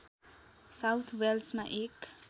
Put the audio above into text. south वेल्समा एक